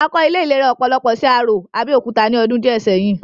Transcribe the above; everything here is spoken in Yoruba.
A kọ́ ilé ìlera ọpọlọ sí Arò, Abẹ́òkúta ní ọdún díẹ̀ sẹ́yìn